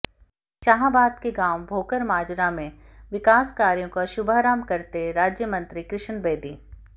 शाहाबाद के गांव भोकर माजरा में विकास कार्यों का शुभारंभ करते राज्यमंत्री कृष्ण बेदी